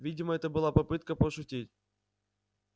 видимо это была попытка пошутить